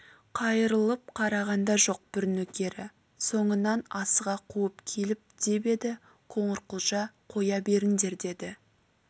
қайырылып қараған да жоқ бір нөкері соңынан асыға қуып келіп деп еді қоңырқұлжа қоя беріңдер деді